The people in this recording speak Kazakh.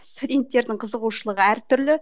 студенттердің қызығушылығы әртүрлі